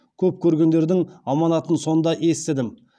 көп көргендердің аманатын сонда естідім